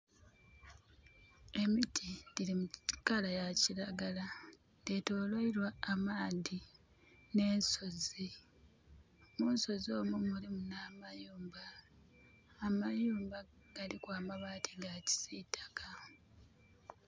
Emiti dhili mu colour ya kiragala. Dhetoloirwa amaadhi n'ensozi. Munsozi omwo mulimu n'amayumba. Amayumba galiku amabaati ga kisitaka.